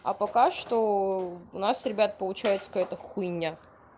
а пока что у нас ребят получается какая-то хуйня